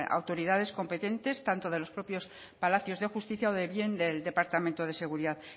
autoridades competentes tanto de los propios palacios de justicia o de bien del departamento de seguridad